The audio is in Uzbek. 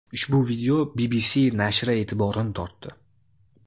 Ushbu video BBC nashri e’tiborini tortdi.